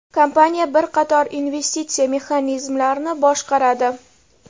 Kompaniya bir qator investitsiya mexanizmlarini boshqaradi.